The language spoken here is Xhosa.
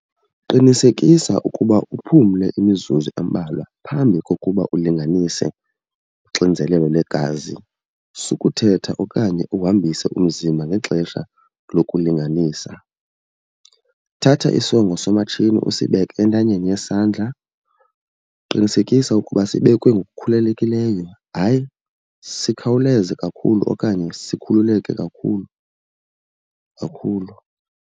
Qinisekisa ukuba uphumle imizuzu embalwa phambi kokuba ulinganise uxinzelelo lwegazi. Sukuthetha okanye uhambise umzimba ngexesha lokulinganisa. Thatha isongo somatshini usibeke entanyeni yesandla. Qinisekisa ukuba sibekwe ngokukhululekileyo hayi sikhawuleze kakhulu okanye sikhululeke kakhulu kakhulu.